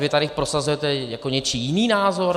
Vy tady prosazujete jako něčí jiný názor?